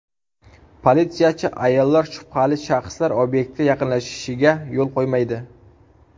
Politsiyachi ayollar shubhali shaxslar obyektga yaqinlashishiga yo‘l qo‘ymaydi.